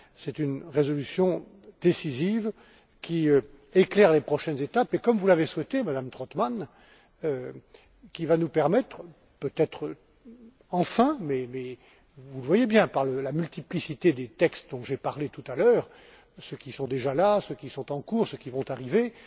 Cette résolution décisive éclaire les prochaines étapes et, comme vous l'avez souhaité, Madame Trautmann, va nous permettre peut être enfin, mais vous le voyez bien, de par la multiplicité des textes dont j'ai parlé tout à l'heure, ceux qui sont déjà là, ceux qui sont en cours, ceux à